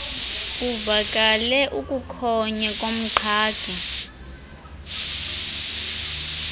kuvakale ukukhonya komqhagi